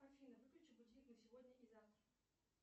афина выключи будильник на сегодня и завтра